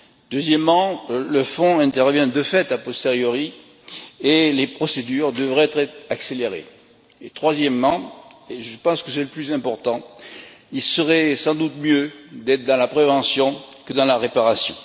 Deuxièmement, le fonds intervient de fait a posteriori et les procédures devraient être accélérées. Troisièmement, et je pense que c'est le plus important, il serait sans doute préférable d'être dans la prévention que dans la réparation.